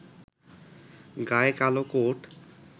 গায়ে কালো কোট